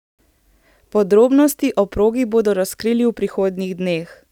Podrobnosti o progi bodo razkrili v prihodnjih dneh.